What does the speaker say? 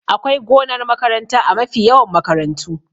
Akwai gonar makaranta a mafi yawan makarantu